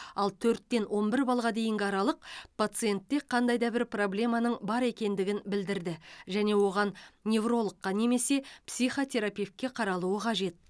ал төрттен он бір баллға дейінгі аралық пациентте қандайда бір проблеманың бар екендігін білдірді және оған неврологқа немесе психотерапевтке қаралуы қажет